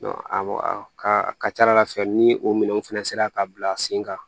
ka ca ala fɛ ni o minɛnw fana sera ka bila sen kan